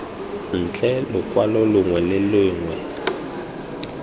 ntle lokwalo longwe le longwe